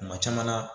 Kuma caman na